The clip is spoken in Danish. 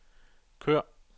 kør